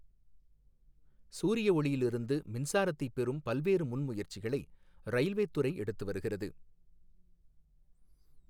சூரிய ஔியிலிருந்து மின்சாரத்தைப் பெறும் பல்வேறு முன்முயற்சிகளை ரயில்வேத் துறை எடுத்து வருகிறது.